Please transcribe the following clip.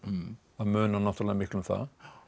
það munar náttúrulega miklu um það